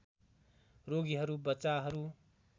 रोगीहरू बच्चाहरू